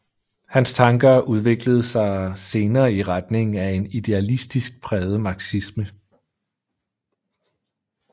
Hans tanker udviklede sig senere i retning af en idealistisk præget marxisme